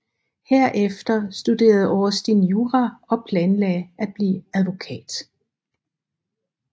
Herefter studerede Austin jura og planlagde at blive advokat